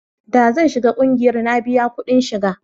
da zan shiga ƙungiyar na biya kudin shiga